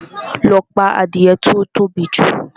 Lọ pa adìẹ tí ó tóbi jù!